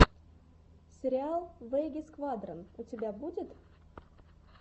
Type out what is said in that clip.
сериал веги сквадрон у тебя будет